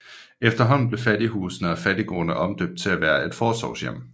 Efterhånden blev fattighusene og fattiggårdene omdøbt til at være et forsorgshjem